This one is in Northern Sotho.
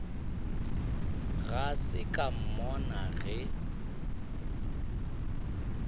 ga se ka mmona ge